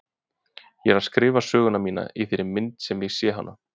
Ég er að skrifa söguna mína í þeirri mynd sem ég sé hana.